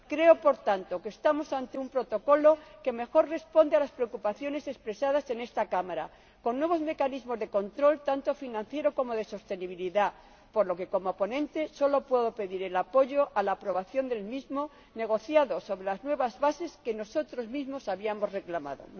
Creo, por tanto, que estamos ante el Protocolo que mejor responde a las preocupaciones expresadas en esta Cámara, con nuevos mecanismos de control, tanto financiero como de sostenibilidad, por lo que, como ponente, solo puedo pedir el apoyo a la aprobación del mismo, negociado sobre las nuevas bases que nosotros mismos habíamos reclamado.